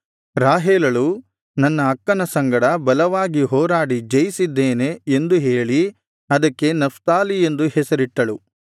ರಾಹೇಲಳು ನನ್ನ ಅಕ್ಕನ ಸಂಗಡ ಬಲವಾಗಿ ಹೋರಾಡಿ ಜಯಿಸಿದ್ದೇನೆ ಎಂದು ಹೇಳಿ ಅದಕ್ಕೆ ನಫ್ತಾಲಿ ಎಂದು ಹೆಸರಿಟ್ಟಳು